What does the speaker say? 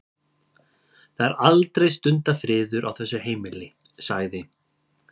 Það er aldrei stundarfriður á þessu heimili- sagði